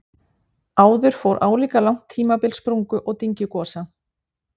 Áður fór álíka langt tímabil sprungu- og dyngjugosa.